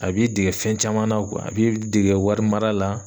A b'i dege fɛn caman na a b'i dege wari mara la.